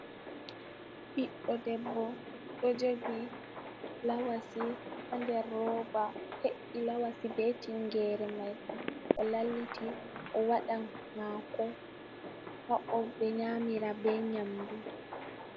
Ɓiɗɗo debbo ɗo jogi lawasi ha der rooba he’i lawasi be tingere mai o lalliti o waɗan hako ha o ɓe nyamira be nyamdu.